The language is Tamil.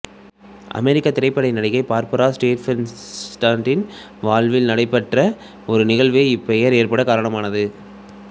அமெரிக்கத் திரைப்பட நடிகை பார்பரா ஸ்ட்ரெய்சண்டின் வாழ்வில் நடைபெற்ற ஒரு நிகழ்வே இப்பெயர் ஏற்படக் காரணமானது